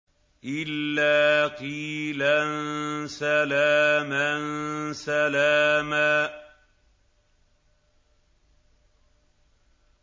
إِلَّا قِيلًا سَلَامًا سَلَامًا